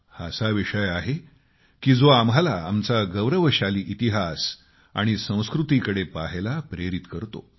हा असा विषय आहे की जो आम्हाला आमची गौरवशाली इतिहास आणि संस्कृतीकडे पाहायला प्रेरित करतो